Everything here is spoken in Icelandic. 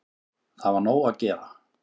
Það var nóg að gera